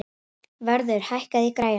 Vörður, hækkaðu í græjunum.